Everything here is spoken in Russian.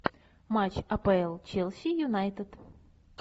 матч апл челси юнайтед